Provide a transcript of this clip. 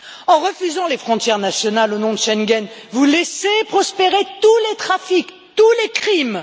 En refusant les frontières nationales au nom de Schengen, vous laissez prospérer tous les trafics, tous les crimes.